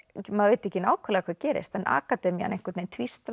maður veit ekki nákvæmlega hvað gerist en akademían einhvern veginn